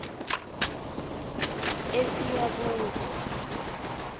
esiyabuswa